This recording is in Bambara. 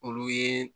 Olu ye